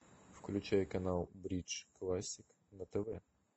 включай канал бридж классик на тв